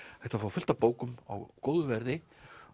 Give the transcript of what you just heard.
hægt að fá fullt af bókum á góðu verði